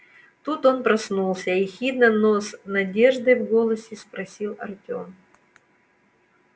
тут он проснулся ехидно но с надеждой в голосе спросил артем